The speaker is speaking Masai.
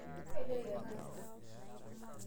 Kagira aipanga enkisuma etenakata.